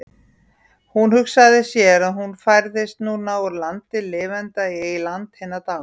Hún hugsaði sér að hún færðist núna úr landi lifenda í land hinna dánu.